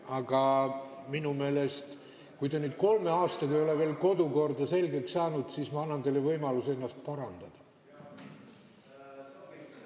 Aga kui te kolme aastaga ei ole veel kodukorda selgeks saanud, siis ma annan teile võimaluse ennast parandada.